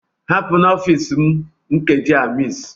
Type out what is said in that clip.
Hapụ n'ọfịs m nkeji a, Miss!